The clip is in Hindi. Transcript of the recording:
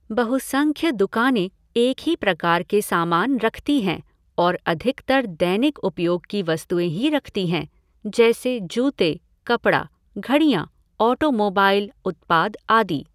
बहुसंख्य दुकानें एक ही प्रकार के सामान रखती हैं और अधिकतर दैनिक उपयोग की वस्तुएँ ही रखती हैं, जैसे जूते, कपड़ा, घड़ियां, ऑटोमोबाइल उत्पाद आदि।